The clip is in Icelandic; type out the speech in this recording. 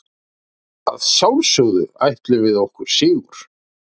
Að sjálfsögðu ætluðum við okkur sigur